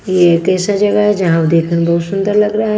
ये कैसा जगह है जहां देखकर बहुत सुंदर लग रहा है।